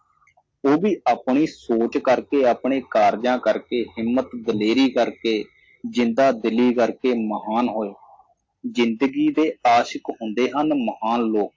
ਉਹ ਵੀ ਆਪਣੀ ਸੋਚ ਕਰਕੇ ਆਪਣੇ ਕਾਰਜਾਂ ਕਰਕੇ ਹਿੰਮਤ ਦਲੇਰੀ ਕਰਕੇ ਜਿੰਦਾਦਿਲੀ ਕਰਕੇ ਮਹਾਨ ਹੋਏ ਜਿੰਦਗੀ ਦੇ ਆਸ਼ਿਕ਼ ਹੁੰਦੇ ਹਨ ਮਹਾਨ ਲੋਕ